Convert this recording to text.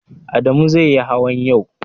Adamu zai yi hawan yau?